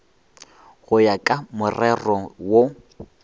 go ya ka morero wo